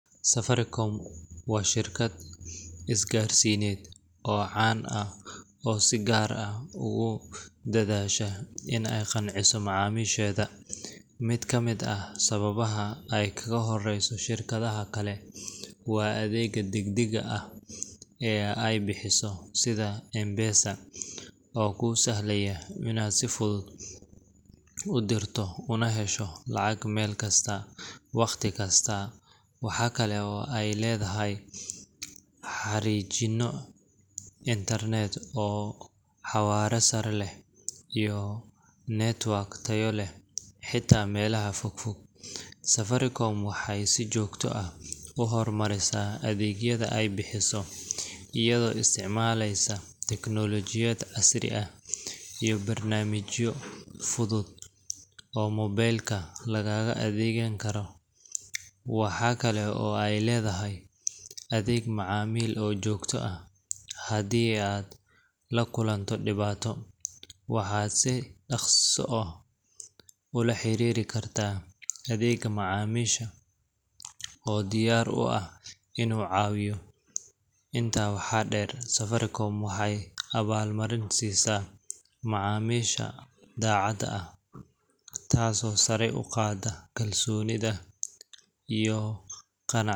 Safaricom waa shirkad isgaarsiineed oo caan ah oo si gaar ah ugu dadaasha in ay qanciso macaamiisheeda. Mid ka mid ah sababaha ay kaga horeyso shirkadaha kale waa adeegga degdegga ah ee ay bixiso sida M-PESA, oo kuu sahlaya inaad si fudud u dirto una hesho lacag meel kasta, waqti kasta. Waxa kale oo ay leedahay xariijimo internet oo xawaare sare leh iyo network tayo leh, xitaa meelaha fogfog. Safaricom waxay si joogto ah u horumarisaa adeegyada ay bixiso, iyadoo isticmaaleysa tiknoolajiyad casri ah iyo barnaamijyo fudud oo mobile ka lagaga adeegan karo. Waxa kale oo ay leedahay adeeg macmiil oo joogto ah haddii aad la kulanto dhibaato, waxaad si dhakhso ah ula xiriiri kartaa adeegga macaamiisha oo diyaar u ah inuu caawiyo. Intaa waxaa dheer, Safaricom waxay abaalmarin siisaa macaamiisha daacad ah, taasoo sare u qaadda kalsoonida iyo qanacsanaanta.